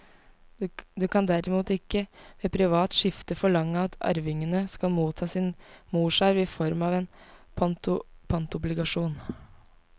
Du kan derimot ikke ved privat skifte forlange at arvingene skal motta sin morsarv i form av en pantobligasjon.